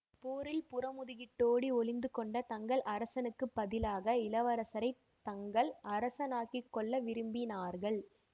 போரில் புறமுதுகிட்டோ டி ஒளிந்து கொண்ட தங்கள் அரசனுக்குப் பதிலாக இளவரசரை தங்கள் அரசனாக்கிக் கொள்ள விரும்பினார்கள்